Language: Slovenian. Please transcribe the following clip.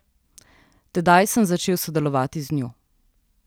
Tedaj sem začel sodelovati z njo.